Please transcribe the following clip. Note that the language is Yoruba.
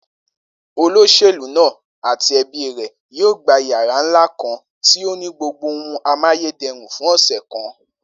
Olós̩èlú náà àti e̩bí rè̩ yóò gba yàrá ńlá kan tí ó ní gbogbo ohun amáyéde̩rùn fún ò̩sè̩ kan